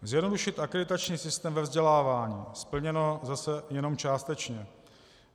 Zjednodušit akreditační systém ve vzdělávání - splněno zase jenom částečně.